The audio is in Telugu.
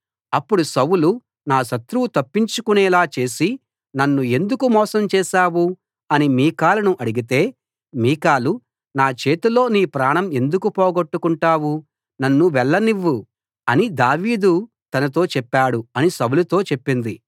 అప్పుడు సౌలు నా శత్రువు తప్పించుకుపోయేలా చేసి నన్ను ఎందుకు మోసం చేసావు అని మీకాలును అడిగితే మీకాలు నా చేతిలో నీ ప్రాణం ఎందుకు పోగొట్టుకుంటావ్ నన్ను వెళ్లనివ్వు అని దావీదు తనతో చెప్పాడు అని సౌలుతో చెప్పింది